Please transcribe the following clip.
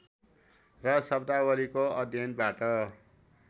र शब्दावलीको अध्ययनबाट